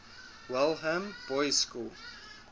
welham boys school